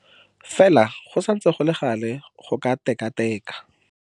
Fela go santse go le gale go ka keteka.